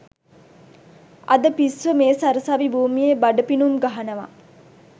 අද පිස්සෝ මේ සරසවි භූමියේ බඩ පිනුම් ගහනවා